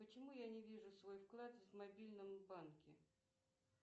почему я не вижу свой вклад в мобильном банке